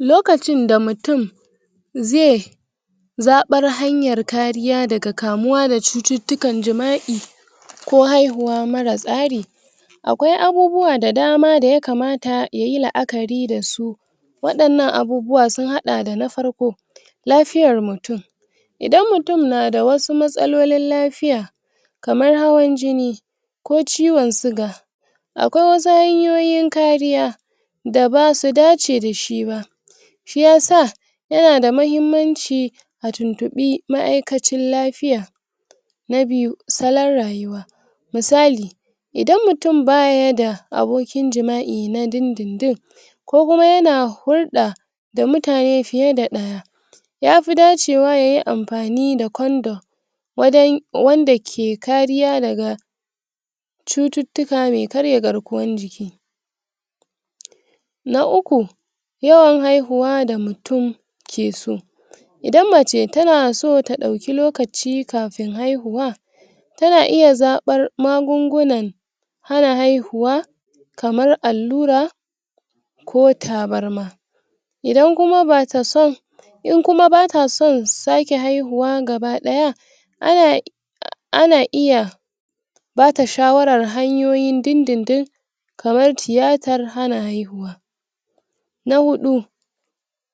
lokacin da mutune ze zaɓar hanyar kariya daga kamuwa da cututtukan jima'i ko haihuwa mara tsari akwai abubuwa da dama da yakamata yayi la'akari dasu waɗannan abubuwa sun haɗa da na farko lafiyar mutun idan mutun nada wasu matsalolin lafiya kamar hawan jini ko ciwon siga akwai wasu hanyoyin kariya da basu dace dashi ba shi yasa yanada mahimmanci a tuntuɓi ma'ikacin lafiya na biyu salon rayuwa misali idan mutun baryada abokin jima'i na dindindin kokuma yana hulɗa da mutane fiye da ɗaya yafi dacewa yayi anfani da condom wadan um wanda ke kariya cututtuka me karya garkuwan jiki na uku yawan haihuwa da mutun ke so idan mace tana so ta ɗauki lokaci kafin haihuwa tana iya zabar magungunan hana haihuwa kamar allura ko tabarma idan kuma batason in kuma bata son sake haihuwa gaba ɗaya ana ana iya bata shawarar hanyoyi na dindindin kamar tiyatar hana haihuwa na hudu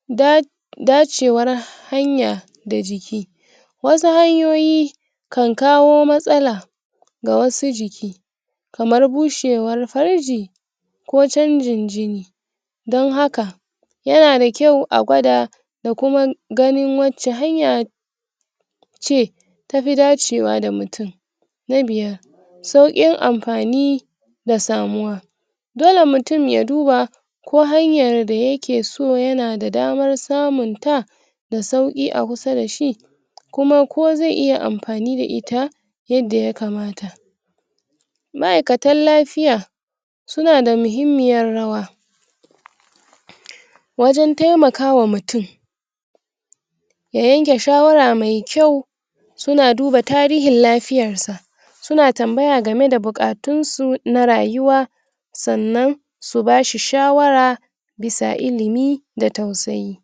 da dacewar hanya da jiki wasu hanyoyi kan kawo matsala ga wasu jiki kamar bushewar farji ko canjin jini din haka yana da kyau a gwad da kuma qnin wacce hanya ce tafi dacewa da mutun na biyar saukin anfani da samuwa dole mutun ya duba ko hanyar daya keso yana da damar samun ta da sauki a kusa da shi kuma ko ze iya anfani da ita yada yakamata ma'ikatan lafiya sunada muhimmiyar rawa wajan temaka wa mutun ya yanke shawara me suna duba tarihin lafiyar sa suna tambaya gameda bukatun su na rayuwa sanan su bashi shawara bisa ilimi da tausayi